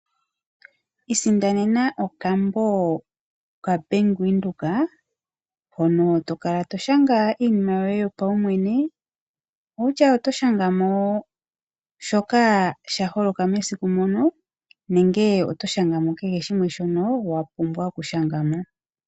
Isindanena okambo kaBank Windhoek mono to kala to shanga iinima yoye yopaumwene, ano shoka sha holoka mesiku moka nenge oto shanga mo kehe shoka wa pumbwa okushanga mo.